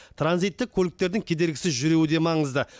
транзиттік көліктердің кедергісіз жүруі де маңызды